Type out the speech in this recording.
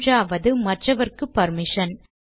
மூன்றாவது மற்றவர்க்கு பர்மிஷன்